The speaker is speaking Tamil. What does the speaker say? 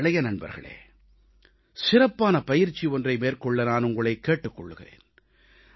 எனது இளைய நண்பர்களே சிறப்பான பயிற்சி ஒன்றை மேற்கொள்ள நான் உங்களைக் கேட்டுக் கொள்கிறேன்